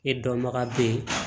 E dɔnbaga bɛ ye